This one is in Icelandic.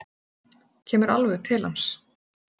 Kemur alveg til hans.